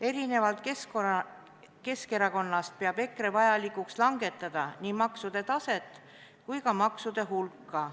Erinevalt Keskerakonnast peab EKRE vajalikuks langetada nii maksude määra kui ka maksude hulka.